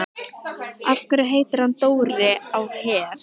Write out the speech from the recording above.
Af hverju heitir hann Dóri á Her?